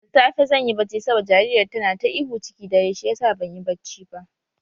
Da safe zan yi bacci saboda jaririyar tana ta ihu ciki dare shiyasa banyi banci ba.